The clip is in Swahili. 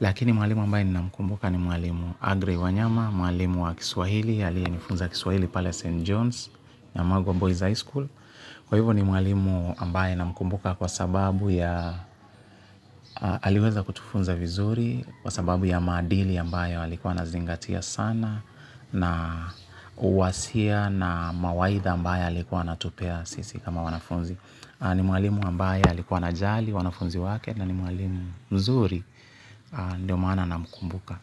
Lakini mwalimu ambaye ninamkumbuka ni mwalimu Andrew Wanyama, mwalimu wa kiswahili, aliyenifunza kiswahili pale St. John's ya Mago Boys High School. Kwa hivyo ni mwalimu ambaye namkumbuka kwa sababu ya aliweza kutufunza vizuri, kwa sababu ya maadili ambayo alikuwa anazingatia sana na uwasia na mawaidha ambayo alikuwa anatupea sisi kama wanafunzi. Ni mwalimu ambaye alikuwa anajali wanafunzi wake na ni mwalimu mzuri ndio maana namkumbuka.